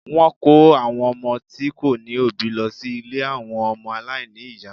Wọ́n ń kó àwọn ọmọ tí kò ní òbí lọ sí ilé àwọn ọmọ aláìní ìyá